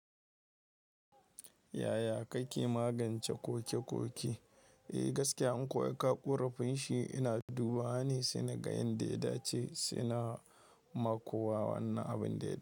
Yaya kake magance kokekoki? Eh gaskiya, an kowa ya kawo ƙorafin shi, ina dubawa ne, sai naga yanda ya dace, sai na makowa wannan abin da ya.